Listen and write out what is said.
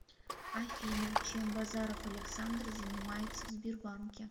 афина чем базаров александр занимается в сбербанке